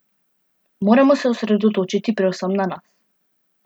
Moramo se osredotočiti predvsem na nas.